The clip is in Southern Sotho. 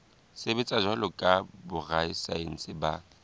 sebetsa jwalo ka borasaense ba